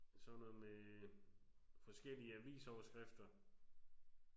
Sådan noget med forskellige avisoverskrifter